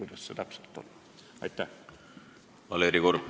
Valeri Korb, palun!